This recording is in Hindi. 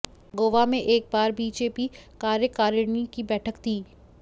गोवा में एक बार बीजेपी कार्यकारिणी की बैठक थी